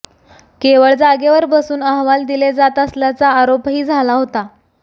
केवळ जागेवर बसून अहवाल दिले जात असल्याचा आरोपही झाला होता